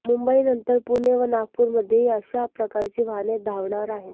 मुंबईनंतर पुणे व नागपूरमध्येही अशा प्रकारची वाहने धावणार आहेत